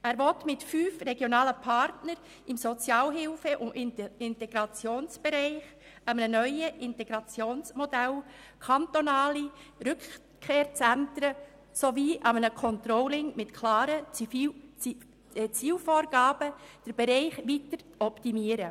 Er will den Bereich mit fünf regionalen Partnern im Sozialhilfe- und Integrationsbereich, einem neuen Integrationsmodell, kantonalen Rückkehrzentren sowie einem Controlling mit klaren Zielvorgaben weiter optimieren.